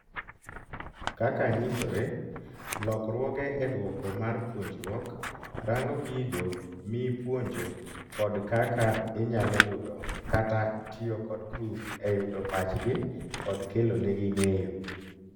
Kaka nyisore, lokruoge e dwoko mar puonjruok, rango gigo mi puonjo kod kaka inyalo yudo kata tiyo kod grup eyudo pachgi kod kelo nigi ng'eyo